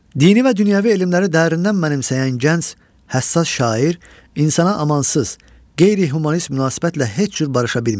Dini və dünyəvi elmləri dərindən mənimsəyən gənc, həssas şair insana amansız, qeyri-humanist münasibətlə heç cür barışa bilmirdi.